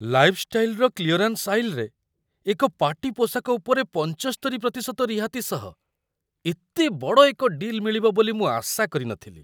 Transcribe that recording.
'ଲାଇଫ୍-ଷ୍ଟାଇଲ'ର clearance ଆଇଲ୍‌ରେ, ଏକ party ପୋଷାକ ଉପରେ ୭୫% ରିହାତି ସହ ଏତେ ବଡ଼ ଏକ ଡିଲ୍‌ ମିଳିବ ବୋଲି ମୁଁ ଆଶା କରି ନଥିଲି।